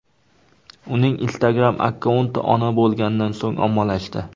Uning Instagram akkaunti ona bo‘lganidan so‘ng ommalashdi.